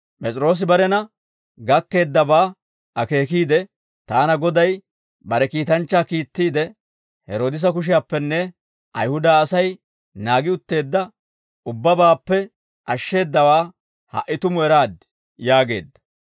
P'es'iroosi barena gakkeeddabaa akeekiide, «Taana Goday bare kiitanchchaa kiittiide, Heroodisa kushiyaappenne Ayihuda Asay naagi utteedda ubbabaappe ashsheeddawaa ha"i tumu eraad» yaageedda.